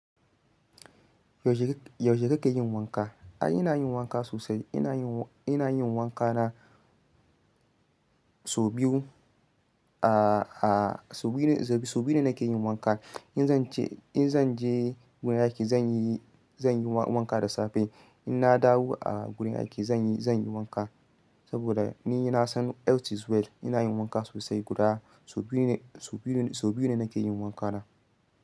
Yaushe kake yin wanka? Ai ina yin wanka sosai. Ina yin, ina yin wanka na sau biyu, a a sau biyu, sau biyu ne nake yin wanka. In zan je, in zan je wurin aiki zan yi, zan yi wanka da safe. In na dawo a wurin aiki zan yi, zan yi wanka. Saboda ni na san health is wealth. Ina yin wanka sosai guda sau biyu ne, sau biyu ne nake yin wanka na.